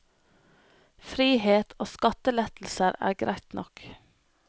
Frihet og skattelettelser er greit nok.